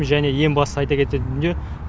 және ең басты айта кететін дүние